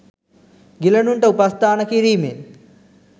ගිලනුන්ට උපස්ථාන කිරීමෙන්